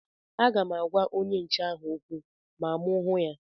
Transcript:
Aga m agwa onye nche ahụ okwu ma mụ hụ ya